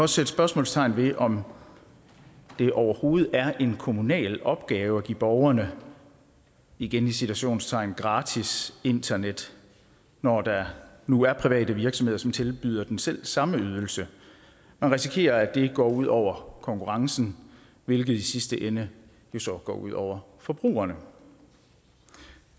sætte spørgsmålstegn ved om det overhovedet er en kommunal opgave at give borgerne igen i citationstegn gratis internet når der nu er private virksomheder som tilbyder den selv samme ydelse man risikerer at det går ud over konkurrencen hvilket i sidste ende jo så går ud over forbrugerne